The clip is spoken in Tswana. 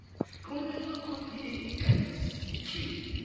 romela khopi e e kanisitsweng